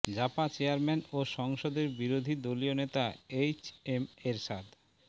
JaPa chairman ও সংসদের বিরোধী দলীয় নেতা এইচএম এরশাদ